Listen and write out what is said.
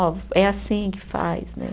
Ó, é assim que faz, né?